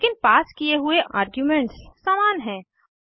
लेकिन पास किये हुए आर्ग्यूमेंट्स समान हैं